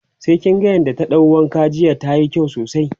sai kin ga yadda ta ɗau wanka jiya tayi kyau sosai